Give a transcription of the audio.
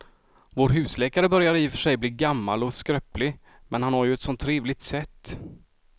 Vår husläkare börjar i och för sig bli gammal och skröplig, men han har ju ett sådant trevligt sätt!